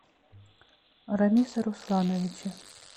рамиса руслановича